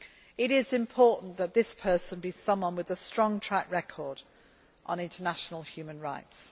It is important that this person be someone with a strong track record on international human rights.